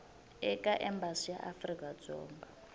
eka embasi ya afrika dzonga